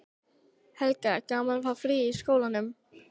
Helga: Gaman að fá frí í skólanum?